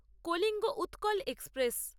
Kalinga Utkal express